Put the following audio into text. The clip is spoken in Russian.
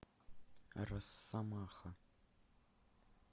росомаха